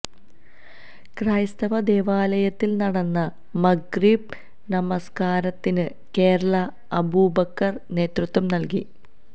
ക്രൈസ്തവ ദേവാലയത്തില് നടന്ന മഗ്രിബ് നമസ്കാരത്തിന് കേരള അബൂബക്കര് നേതൃത്വം നല്കി